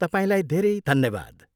तपाईँलाई धेरै धन्यवाद।